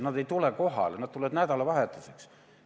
Nad ei tule kohale või tulevad ainult nädalavahetuseks.